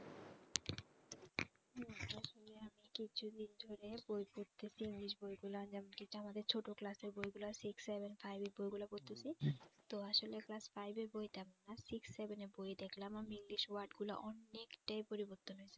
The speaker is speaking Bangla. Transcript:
কিছু দিন ধরে বই পড়তেছি english বই গুলা যেমন কি আমাদের ছোট class এর বইগুলা six seven five এর বইগুলা পড়তেছি তো আসলে class five এর বইটা six seven এর বইয়ে দেখলাম আমি english word গুলা অনেকটাই পরিবর্তন হয়েছে